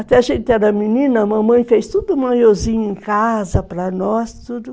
Até a gente era menina, a mamãe fez tudo, o maiozinho em casa, para nós, tudo.